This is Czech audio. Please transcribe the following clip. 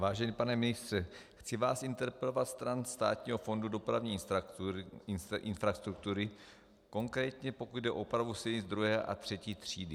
Vážený pane ministře, chci vás interpelovat stran Státního fondu dopravní infrastruktury, konkrétně pokud jde o opravu silnic druhé a třetí třídy.